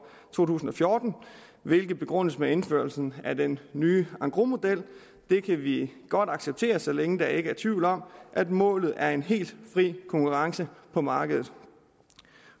to tusind og fjorten hvilket begrundes med indførsel af den nye engrosmodel det kan vi godt acceptere så længe der ikke er tvivl om at målet er en helt fri konkurrence på markedet